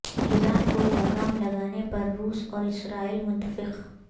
ایران کو لگام لگانے پر روس اور اسرائیل متفق